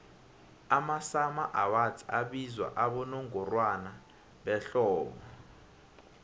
amasummer awards abizwa abowongorwana behlobo